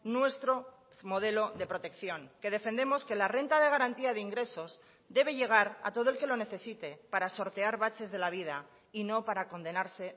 nuestro modelo de protección que defendemos que la renta de garantía de ingresos debe llegar a todo el que lo necesite para sortear baches de la vida y no para condenarse